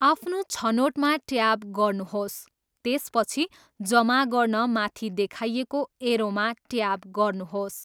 आफ्नो छनोटमा ट्याप गर्नुहोस्, त्यसपछि जमा गर्न माथि देखाइएको एरोमा ट्याप गर्नुहोस्।